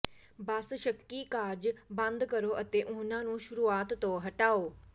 ਬਸ ਸ਼ੱਕੀ ਕਾਰਜ ਬੰਦ ਕਰੋ ਅਤੇ ਉਹਨਾਂ ਨੂੰ ਸ਼ੁਰੂਆਤ ਤੋਂ ਹਟਾਓ